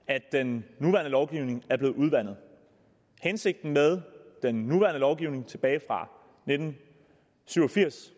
at den nuværende lovgivning er blevet udvandet hensigten med den nuværende lovgivning tilbage fra nitten syv og firs